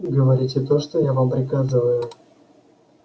говорите то что я вам приказываю